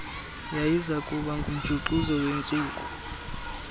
yayizakuba ngumjuxuzo wentsuku